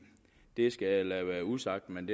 skal jeg lade være usagt men